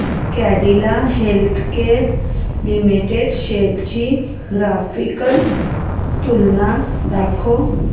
Cadila healthcare limited shares ची graphical तुलना दाखव